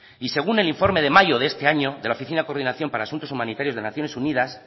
y según el informe de mayo de este año de la oficina de coordinación para asuntos humanitarios de naciones unidas